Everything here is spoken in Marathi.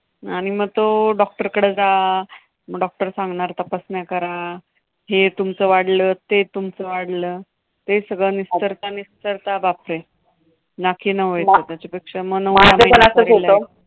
आणि मग तो डॉक्टरकडं जा, मग doctor सांगणार तपासण्या करा. हे तुमचं वाढलं, ते तुमचं वाढलं. ते सगळं निस्तरता निस्तरता बापरे! नाकी नऊ येतात, त्याच्यापेक्षा माझं पण असंच होतं.